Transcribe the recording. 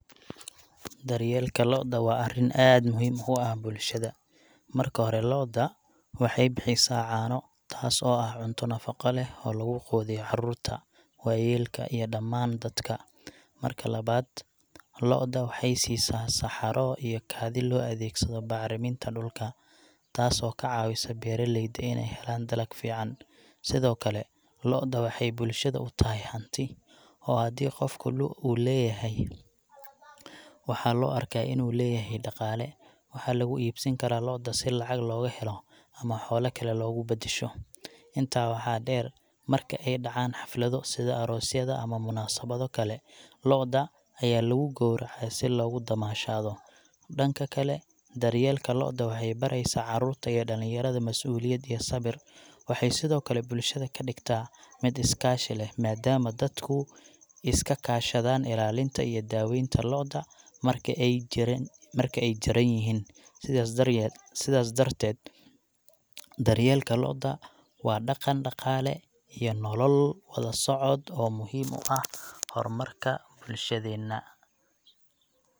Daryeelka lo’da waa arrin aad muhiim u ah bulshada. Marka hore, lo’da waxay bixisaa caano, taas oo ah cunto nafaqo leh oo lagu quudiyo carruurta, waayeelka, iyo dhammaan dadka. Marka labaad, lo’da waxay siisaa saxaro iyo kaadi loo adeegsado bacriminta dhulka, taasoo ka caawisa beeraleyda inay helaan dalag fiican. Sidoo kale, lo’da waxay bulshada u tahay hanti, oo haddii qofku uu leeyahay lo’, waxaa loo arkaa inuu leeyahay dhaqaale. Waxaa lagu iibsan karaa lo’da si lacag looga helo ama xoolo kale loogu beddesho. Intaa waxaa dheer, marka ay dhacaan xaflado, sida aroosyada ama munaasabado kale, lo’da ayaa lagu gowracaa si loogu damaashaado. Dhanka kale, daryeelka lo’da waxay baraysaa carruurta iyo dhalinyarada masuuliyad iyo sabir. Waxay sidoo kale bulshada ka dhigtaa mid iskaashi leh, maadaama dadku iska kaashadaan ilaalinta iyo daaweynta lo’da marka ay jir,,marka ay jiran yihiin. Sidaas darteed, daryeelka lo’da waa dhaqan, dhaqaale, iyo nolol wada socda oo muhiim u ah horumarka bulshadeena.